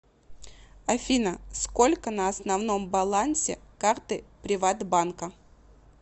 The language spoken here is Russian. афина сколько на основном балансе карты приват банка